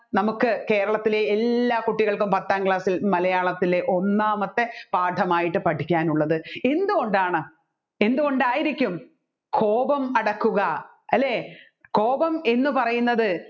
നമ്മുക്ക് കേരളത്തിലെ എല്ലാ കുട്ടികൾക്കും പത്താം class ൽ മലയാളത്തിലെ ഒന്നാമത്തെ പാഠമായിട്ട് പഠിക്കാനുള്ളത് എന്തുകൊണ്ടാണ് എന്തുകൊണ്ടായിരിക്കും കോപം അടക്കുക അല്ലെ കോപം എന്ന് പറയുന്നത്